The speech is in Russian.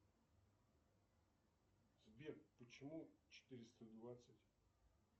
сбер почему четыреста двадцать